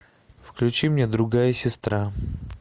включи мне другая сестра